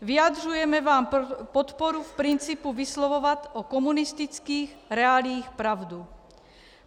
Vyjadřujeme vám podporu v principu vyslovovat o komunistických reáliích pravdu.